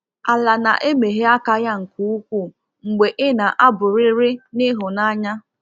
Ala na-emeghe aka ya nke ukwuu mgbe i na-abụrịrị n’ịhụnanya.